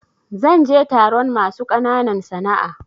Zan je taron masu ƙananan sana'a.